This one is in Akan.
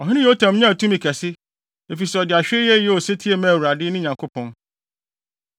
Ɔhene Yotam nyaa tumi kɛse, efisɛ ɔde ahwɛyie yɛɛ osetie maa Awurade, ne Nyankopɔn.